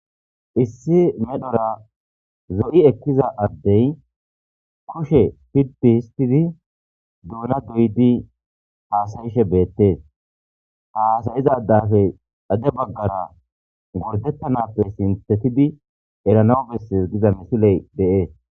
Issi medhora zo'i ekiza addey kushe pidi histidi duuna doyodi hasayishe betees ha hasayiza addappe xade bagara gordetanappe sinthatidi erana besses Giza misiley de'es.